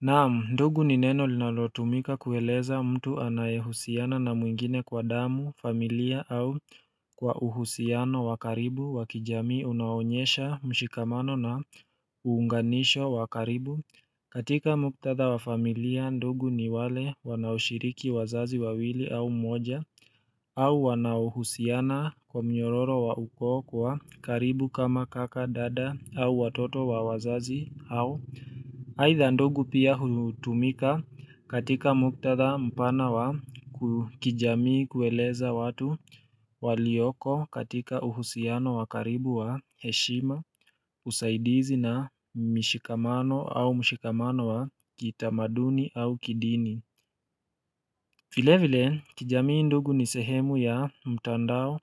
Naamu ndugu ni neno linalotumika kueleza mtu anayehusiana na mwingine kwa damu, familia au kwa uhusiano wa karibu wakijamii unaonyesha mshikamano na uunganisho wa karibu katika muktatha wa familia ndugu ni wale wanaoshiriki wazazi wawili au mmoja au wanauhusiana kwa mnyororo wa ukoo kwa karibu kama kaka dada au watoto wa wazazi au aidha ndugu pia hutumika katika muktadha mpana wa kijamii kueleza watu walioko katika uhusiano wa karibu wa heshima usaidizi na mishikamano au mishikamano wa kitamaduni au kidini vile vile kijamii ndugu ni sehemu ya mtandao